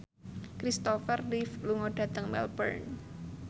Christopher Reeve lunga dhateng Melbourne